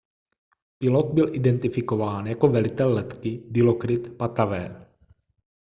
pilot byl identifikován jako velitel letky dilokrit pattavee